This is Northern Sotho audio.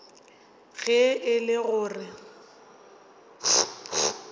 ge e le go re